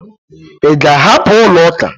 Ị ga-ahapụ ụlọuka?